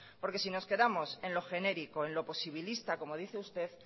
porque si nos quedamos en lo genérico en lo posibilista como dice usted